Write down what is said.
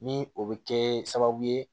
Ni o bɛ kɛ sababu ye